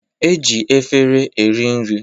E ji efere eri nri